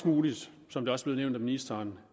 muligt som det også blev nævnt af ministeren